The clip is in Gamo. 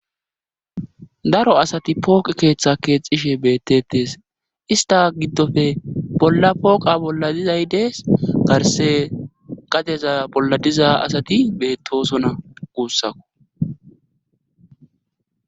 Daro asati pooqe keeththa keexishe beettetes ista giddofe bolla pooqa bolla dizaydees garse gadeza bolla diza asati beettosona guussako.